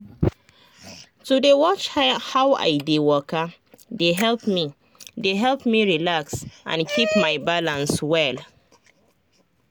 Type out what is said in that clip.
to dey watch how i dey waka dey help me dey help me relax and keep my balance well.